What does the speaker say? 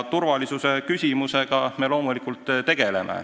Turvalisuse küsimusega me loomulikult tegeleme.